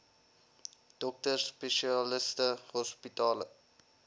dokters spesialiste hospitale